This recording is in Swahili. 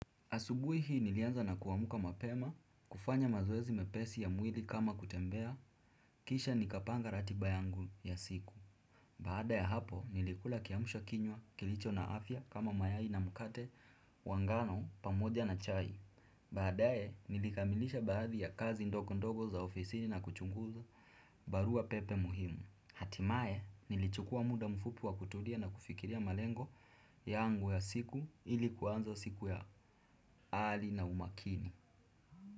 Asubui hii nilianza na kuamuka mapema, kufanya mazoezi mepesi ya mwili kama kutembea, kisha nikapanga ratiba yangu ya siku. Baada ya hapo nilikula kiamsha kinywa kilicho na afya kama mayai na mkate wa ngano pamoja na chai. Baadae nilikamilisha baadhi ya kazi ndogondogo za ofisini na kuchunguza barua pepe muhimu. Hatimaye, nilichukua mda mfupi wa kutulia na kufikiria malengo yangu ya siku ili kuanza ya ari na umakini.